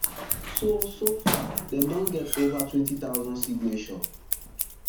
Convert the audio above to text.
so so far dem don get ova twenty thousand signature